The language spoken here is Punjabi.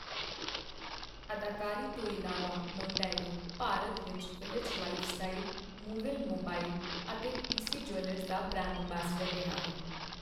ਅਦਾਕਾਰੀ ਤੋਂ ਇਲਾਵਾ, ਮੋਂਟੇਇਰੋ ਭਾਰਤ ਵਿੱਚ ਵਿੱਲਜ਼ ਲਾਈਫ ਸਟਾਈਲ, ਮੂਵਿਲ ਮੋਬਾਈਲ ਅਤੇ ਪੀ. ਸੀ. ਜਿਊਲਰਜ਼ ਦਾ ਬ੍ਰਾਂਡ ਅੰਬੈਸਡਰ ਰਿਹਾ ਹੈ।